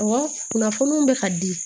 Ɔwɔ kunnafoniw bɛ ka di